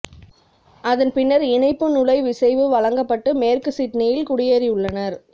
அதன் பின்னர் இணைப்பு நுழைவிசைவு வழங்கப்பட்டு மேற்கு சிட்னியில் குடியேறியுள்ளார்